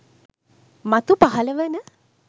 මතු පහළ වන